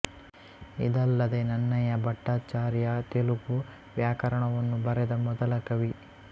ಇದಲ್ಲದೆ ನನ್ನಯ ಭಟ್ಟಾಚಾರ್ಯ ತೆಲುಗು ವ್ಯಾಕರಣವನ್ನು ಬರೆದ ಮೊದಲ ಕವಿ